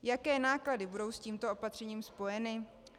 Jaké náklady budou s tímto opatřením spojeny?